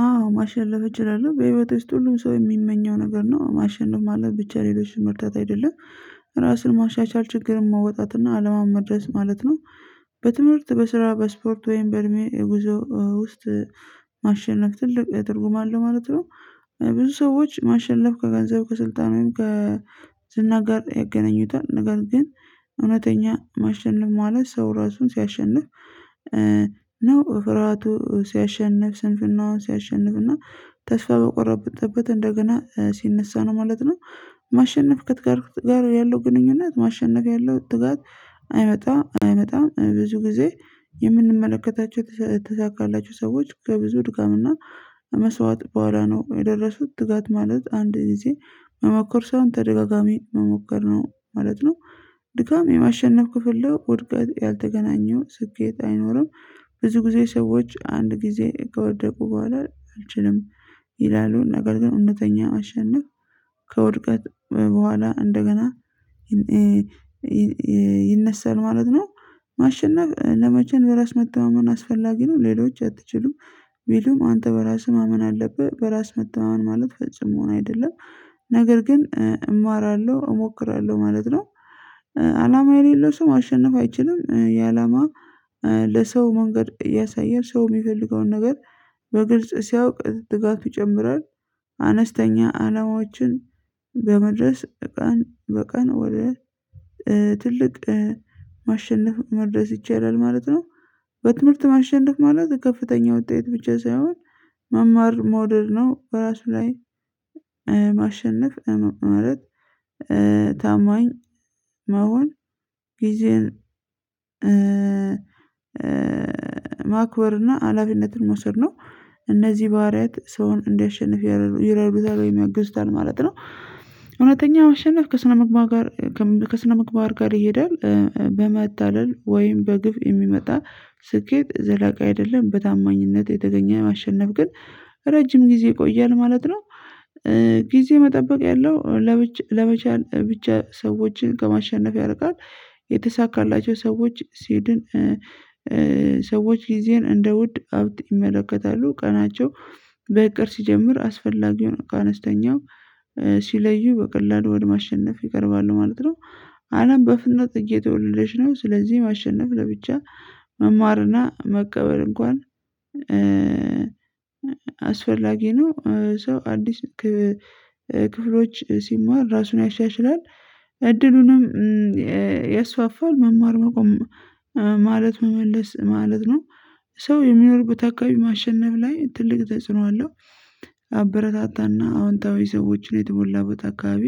አዎ ማሸነፍ እችላለሁ በህይወቴ ውስጥ ሁሉም ሰው የሚመኘው ነገር ነው ማሸነፍ ማለት ብቻ ሌሎችን መርታት አይደለም ራስን ማሻሻል ችግር መውጣትና ከአላማ መድረስ ማለት ነው። በትምህርት በስራ በስፖርት ወይም በእድሜ የጉዞ ውስጥ ማሸነፍ ትልቅ የትርጉም አለው ማለት ነው። ብዙ ሰዎች ማሸነፍ ከገንዘብ ከስልጣን ወይም ከ ዝና ጋር ያገናኙታል ነገር ግን እውነተኛ ማሸነፍ ማለት ሰው ራሱን ሲያሸንፍ። ነው ፍርሃቱን ሲያሸንፍ ስንፍናውን ሲያሸንፍና ተስፋ በቆረጠበት እንደገና ሲነሳ ነው ማለት ነው። ማሸነፍ ከትጋት ያለው ግንኙነት ማሸነፍ ያለው ትጋት አይመጣም አይመጣም ብዙ ጊዜ። የምንመለከታቸው የተሳካላቸው ሰዎች ከብዙ ድጋምና መስዋዕት በኋላ ነው የደረሱት ትጋት ማለት አንድ ጊዜ መሞከር ሳይሆን ተደጋጋሚ መሞከር ነው ማለት ነው። ድካም የማሸነፍ ክፍል ነው ውድቀት ያልተገናኘው ስኬት አይኖርም። ብዙ ጊዜ ሰዎች አንድ ጊዜ ከወደቁ በኋላ አልችልም ይላሉ ነገር ግን እውነተኛ ማሸነፍ። ከውድቀት በኋላ እንደገና ይነሳል ማለት ነው። ማሸነፍ ለመቼም በራስ መተማመን አስፈላጊ ነው ሌሎች አትችሉም ቢሉም አንተ በራስህ ማመን አለብህ በራስ መተማመን ማለት ፈፁም መሆን አይደለም። ነገር ግን እማራለሁ እሞክራለሁ ማለት ነው። አላማ የሌለው ሰው ማሸነፍ አይችልም። የአላማ ለሰው መንገድ እያሳየ ሰው የሚፈልገውን ነገር በግልጽ ሲያውቅ ትጋቱ ይጨምራል። አነስተኛ አላማዎችን በመድረስ ቀን በቀን ወደ ትልቅ ማሸነፍ መድረስ ይቻላል ማለት ነው። በትምህርት ማሸነፍ ማለት ከፍተኛ ውጤት ብቻ ሳይሆን መማር መውደድ ነው። በራሱ ላይ ማሸነፍ ማለት ታማኝ መሆን ጊዜን ማክበርና አላፊነትን መውሰድ ነው። እነዚህ ባህሪያት ሰውን እንዲያሸንፍ ይረዱታል ወይም ያግዙታል ማለት ነው። እውነተኛ ማሸነፍ ከስነ ምግባር ጋር ከስነ ምግባር ጋር ይሄዳል። በመታደል ወይም በግብ የሚመጣ ስኬት ዘላቂ አይደለም። በታማኝነት የተገኘ ማሸነፍ ግን ረጅም ጊዜ ይቆያል ማለት ነው። ጊዜ መጠበቅ ያለው ለመቻል ብቻ ሰዎችን ከማሸነፍ ያርቃል የተሳካላቸው ሰዎች ሲድን ሰዎች ጊዜን እንደ ውድ ሀብት ይመለከታሉ ቀናቸው በእቅድ ሲጀምር አስፈላጊውን ከአነስተኛው ሲለዩ በቀላሉ ወደ ማሸነፍ ይቀርባሉ ማለት ነው። አለም በፍጥንነት እየተወደደች ነው። ስለዚህ ማሸነፍ ለብቻ መማርና መቀበል እንኳን አስፈላጊ ነው። ሰው አዲስ ክፍሎች ሲማር ራሱን ያሻሽራል። እድሉንም ያስፋፋል መማር መቆም ማለት መመለስ ማለት ነው። ሰው የሚኖርበት አካባቢ ማሸነፍ ላይ ትልቅ ተጽዕኖ አለው። አበረታታና አዎንታዊ ሰዎችን የተሞላበት አካባቢ